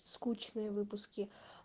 скучные выпуски